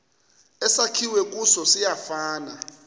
esakhiwe kuso siyafana